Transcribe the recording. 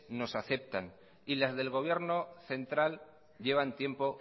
nos afectan y las del gobierno central llevan tiempo